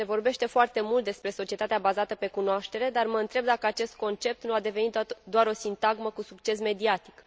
Se vorbește foarte mult de societatea bazată pe cunoaștere, dar mă întreb dacă acest concept nu a devenit doar o sintagmă cu succes mediatic.